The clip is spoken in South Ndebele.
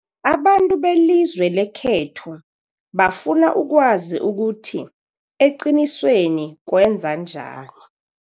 Abantu belizwe lekhethu bafuna ukwazi ukuthi eqinisweni kwenzanjani.